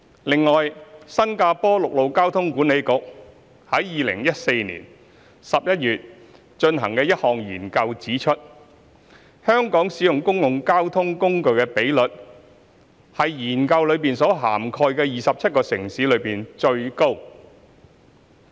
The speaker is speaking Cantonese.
此外，新加坡陸路交通管理局於2014年11月進行的一項研究指出，香港使用公共交通工具的比率為研究所涵蓋的27個城市中最高。